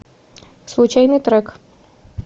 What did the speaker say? случайный трек